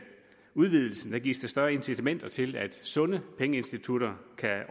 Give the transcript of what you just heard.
udvidelsen gives der større incitamenter til at sunde pengeinstitutter kan